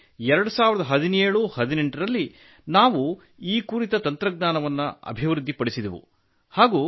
ಹೀಗಾಗಿ 201718ರಲ್ಲಿ ನಾವು ಈ ಕುರಿತ ತಂತ್ರಜ್ಞಾನವನ್ನು ಅಭಿವೃದ್ಧಿಪಡಿಸಿದೆವು